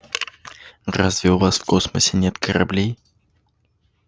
разве у вас в космосе нет кораблей